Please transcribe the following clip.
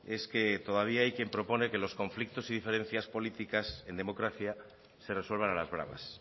es que todavía hay quien propone que los conflictos y diferencias políticas en democracia se resuelvan a las bravas